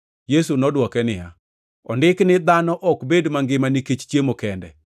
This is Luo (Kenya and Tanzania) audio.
Yesu nodwoke niya, “Ondiki ni, ‘Dhano ok bed mangima nikech chiemo kende.’ + 4:4 \+xt Rap 8:3\+xt* ”